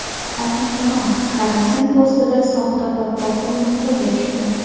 Ohangaron karantin postida soxta podpolkovnik qo‘lga tushdi .